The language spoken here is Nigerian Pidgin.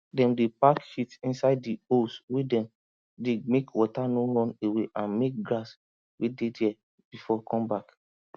dem dey pack shit inside di holes wey dem dig mek water no run away and mek grass wey dey there before come back